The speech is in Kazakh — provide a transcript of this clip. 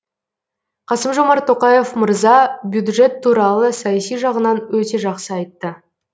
қасым жомарт тоқаев мырза бюджет туралы саяси жағынан өте жақсы айтты